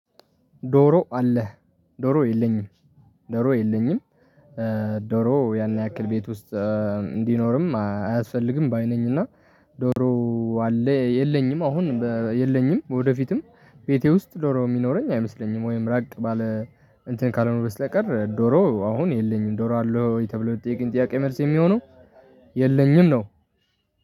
ዶሮ አለ። ዶሮ የለኝም። ዶሮ የለኝም። እእ ዶሮ ያን ያክል ቤት ውስጥ እ እንዲኖርም አያስፈልግም ባይ ነኝ እና ዶሮ አለ። የለኝም አሁን የለኝም ወደፊትም ቤቴ ውስጥ ዶሮ የሚኖረኝ አይመስለኝም። ወይም ራቅ ባለ እንትን ካልሆነ በስተቀር ዶሮ አሁን የለኝም ዶሮ አለው የተብለው የጥያቄ መልስ የሚሆነው የለኝም ነው።